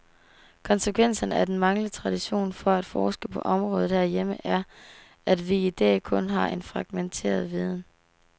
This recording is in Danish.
Konsekvensen af den manglende tradition for at forske på området herhjemme er, at vi i dag kun har en fragmenteret viden.